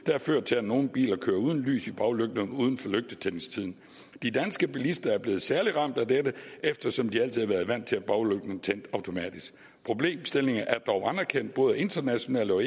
har ført til at nogle biler kører uden lys i baglygterne uden for lygtetændingstiden de danske bilister er blevet særligt ramt af dette eftersom de altid har været vant til at baglygterne tændte automatisk problemstillingen er dog anerkendt både internationalt og